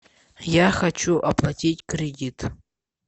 я хочу оплатить кредит